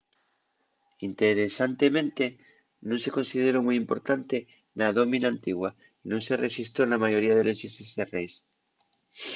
interesantemente nun se consideró mui importante na dómina antigua y nun se rexistró na mayoría de les llistes de reis